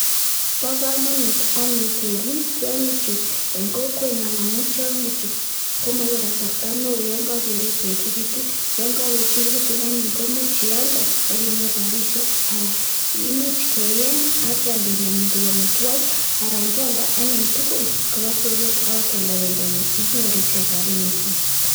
Pa kamanut anyun kerip tiang'ichu eng' kokwenyon amun tiang'ichu ko maipe kasarta ne oo yan kakerip koechekitu. Yan kakoechekitun anyun ko much ialden akinyoru rapishek ala imuch keeny ak keam pendonyin koik amitwogik anan kealda anyun tugul kopa soket akip kealda pendonyin inyoru ichek rapinikchik.